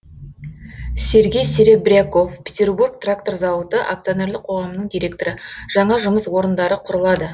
сергей серебряков петербург трактор зауыты акционерлік қоғамының директоры жаңа жұмыс орындары құрылады